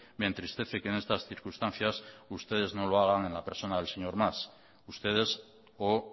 me entristece que en estas circunstancias ustedes no lo hagan a la persona del señor mas ustedes o